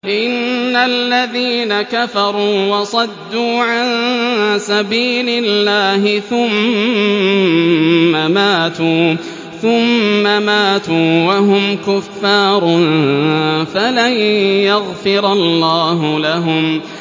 إِنَّ الَّذِينَ كَفَرُوا وَصَدُّوا عَن سَبِيلِ اللَّهِ ثُمَّ مَاتُوا وَهُمْ كُفَّارٌ فَلَن يَغْفِرَ اللَّهُ لَهُمْ